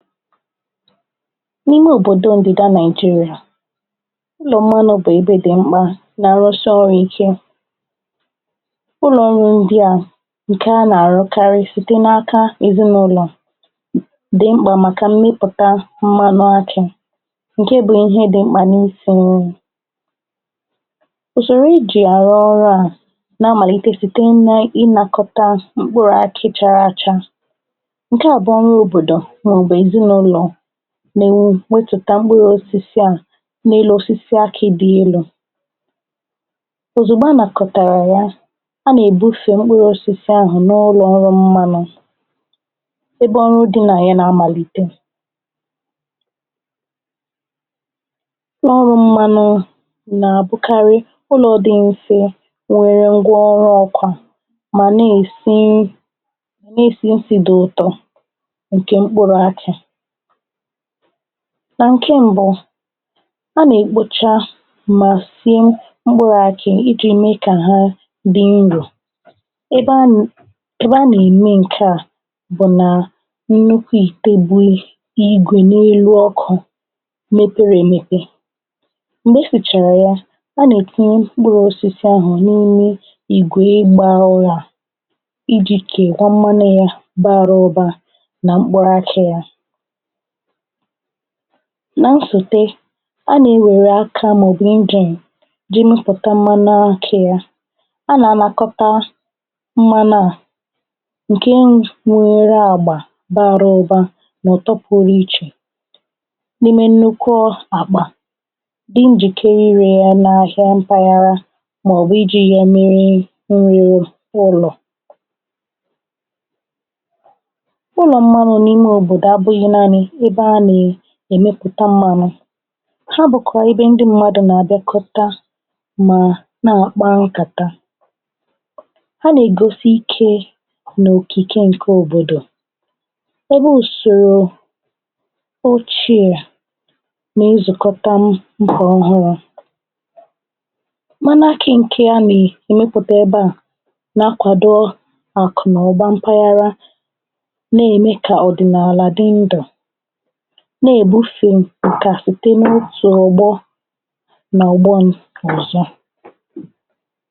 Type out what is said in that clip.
n’ime òbòdo òdị̀da Naị̀jịrị̀à, ụlọ̀ mmanụ̄ bụ̀ ebe dị mmā na arụsha ọrụ̄ ike. ụlọ̀ ọrụ̄ ndị à, ǹkè a nà àrụkarị, site n’aka èzịnụlọ̀ dị̀ mkpà màkà mmịpụ̀ta mmanụ akị̄, ǹke bụ ihe dị̄ mkpà n’isī nri. ùsòrò e jì àrụ ọrụ̄ à nà amàlite, site nà inakọta mkpụrụ̄ aki chara acha. ǹkẹ àbụọ nwẹ òbòdò, mà ọ̀ bụ̀ èzịnụlọ̀ nà èwetùta mkpụrụ osisi à, n’elu osisi akī dị elū. òzùgbo a nàkọ̀tàrà ya, a nà èbufe mkpụrụ̄ osisi ahụ̀ n’ụlọ̀ ọrụ̄ mmanū, ebe ọrụ̄ dị nà y anà amàlite. ụlọ̀ ọrụ̄ mmanū nà àbụkarị ụlọ̄ dị nso, nwẹ ngwa ọrụ ọkwà, mà nà èsi isì isī dị ụtọ ǹkè mkpụrụ̄ akị. nà ǹke mbụ, a nà èkpocha mà sie mkpụrụ akị, I ji me kà ha dị nrò. ebe a nae be a nà ème ǹke à bụ̀ nà nnukwu ìte bu igwè n’elu ọkụ̄ mepere èmepe. m̀gbè e sìchàrà ya, a nà ètinye mkpụrụ osisi ahụ̀ n’ime ìgwè ị gbā ụrā, I jì kè mmanu ya bara ụba nà mkpụrụ akị̄ ya. na nsùte, a nà ewère akā mà ọ̀ bụ̀ engine ga ẹmẹpụ̀ta mmanu akị̄ ya. ọ nà ànakọta mmanù à, ǹke nwere àgbà bara ụba, mà ọ̀ ụ̀tọ pụrụ ichè n’ime nnukwu àkpà, di njìkere irē ya na afịa mpaghara, mà ọ̀ bụ̀ ijīri ya mere nri ụlọ̀. ụlọ̀ m̀manụ n’ime òbòdò abụghị̄ naanị ebe a nà èmepụ̀ta mmanụ̄. ha bụ̀kwà ebe ndị mmadū nà àbịakọta mà nà àkpa nkàta. ha nà ègoso ikē nà òkìke ǹkẹ òbòdò. ebe ùsòrò ochie nà e zùkọta ǹkè ọhụrụ̄. mmanu akị̄ ǹkẹ à nà èmepụ̀ta ebe à nà akwàdo àkụ̀nụ̀ba mpaghara, nà ème kà ọ̀dịnàlà dị ndụ̀, nà èbufè ǹkà site n’otù ọ̀gbọ nà ọ̀gbọ ọ̀zọ.